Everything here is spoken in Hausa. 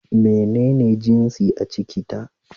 Menene jinsin a ciki ta?